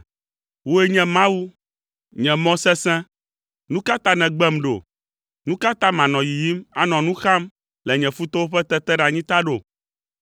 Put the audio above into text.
Wòe nye Mawu, nye mɔ sesẽ. Nu ka ta nègbem ɖo? Nu ka ta manɔ yiyim, anɔ nu xam le nye futɔwo ƒe teteɖeanyi ta ɖo?